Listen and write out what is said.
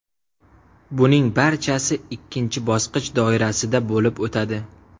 Buning barchasi ikkinchi bosqich doirasida bo‘lib o‘tadi.